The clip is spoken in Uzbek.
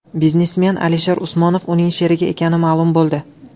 Biznesmen Alisher Usmonov uning sherigi ekani ma’lum bo‘ldi.